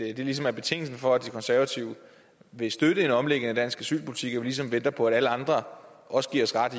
at det ligesom er betingelsen for at de konservative vil støtte en omlægning af dansk asylpolitik og ligesom venter på at alle andre også giver os ret